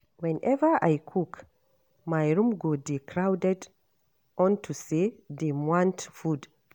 Whenever I cook my room go dey crowded unto say dey want food